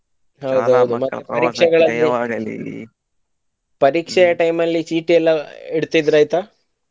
ಹಾ ಹೌದು ಮತ್ತ ಪರೀಕ್ಷೆಗಳಲ್ಲು ಪರೀಕ್ಷೆಯ time ಲ್ಲಿ ಚೀಟಿ ಎಲ್ಲಾ ಇಡತಿದ್ರ ಆಯ್ತಾ.